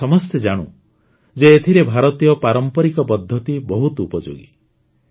ଆମେ ସମସ୍ତେ ଜାଣୁ ଯେ ଏଥିରେ ଭାରତୀୟ ପାରମ୍ପରିକ ପଦ୍ଧତି ବହୁତ ଉପଯୋଗୀ